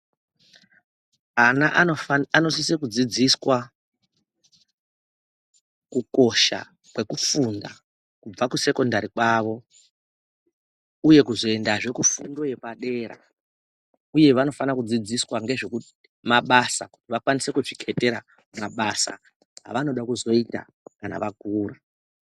Ana anosise kudzidziswa kukosha kwekufunda kubva kusekondari kwavo uye kuzoendazve kufundo yepadera uye vanofanira kudzidziswa ngezvemabasa vakwanise kuzvikhetera mabasa avanoda kuzoita kana vakura.